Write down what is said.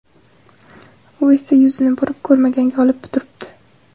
U esa yuzini burib, ko‘rmaganga olib turibdi.